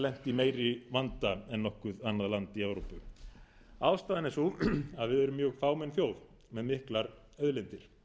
lent í meiri vanda en nokkuð annað land í evrópu ástæðan er sú að við erum mjög fámenn þjóð með miklar auðlindir